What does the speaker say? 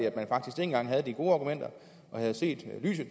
at man faktisk dengang havde de gode argumenter og havde set lyset